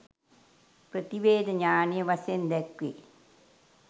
ප්‍රතිවේධ ඤාණය වශයෙන් දැක්වේ.